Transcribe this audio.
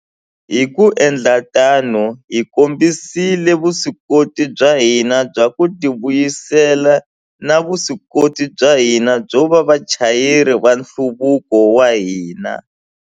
Hi ku endla tano, hi kombisile vuswikoti bya hina bya ku tivuyisela na vuswikoti bya hina byo va vachayeri va nhluvuko wa hina.